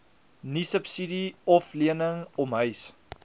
niesubsidie oflening omhuis